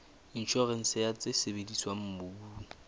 inshorense ya tse sebediswang mobung